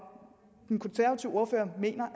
den konservative ordfører mener